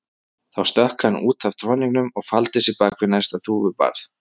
Þá stökk hann út af troðningunum og faldi sig bak við næsta þúfubarð.